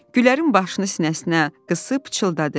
Gülərin başını sinəsinə qısıb pıçıldadı: